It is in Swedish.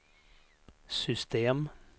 system